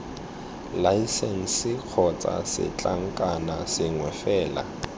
laesense kgotsa setlankna sengwe fela